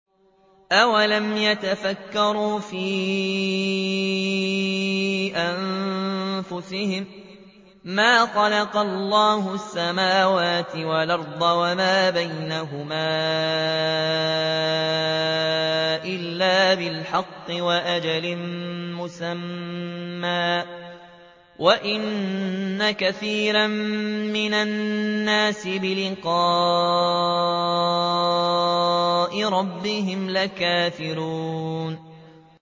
أَوَلَمْ يَتَفَكَّرُوا فِي أَنفُسِهِم ۗ مَّا خَلَقَ اللَّهُ السَّمَاوَاتِ وَالْأَرْضَ وَمَا بَيْنَهُمَا إِلَّا بِالْحَقِّ وَأَجَلٍ مُّسَمًّى ۗ وَإِنَّ كَثِيرًا مِّنَ النَّاسِ بِلِقَاءِ رَبِّهِمْ لَكَافِرُونَ